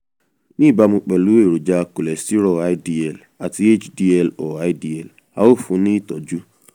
ní ìbámu pẹ̀lú èròjà kòlẹ́sítérò ldl àti hdl/ldl a ó fún un ní ìtọ́jú